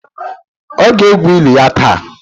Ọ ga-egwu eli ya taa.